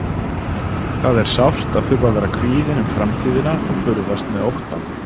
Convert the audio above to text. Það er sárt að þurfa að vera kvíðinn um framtíðina og burðast með óttann.